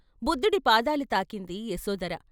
బుద్ధుడి పాదాలు తాకింది యశోధర.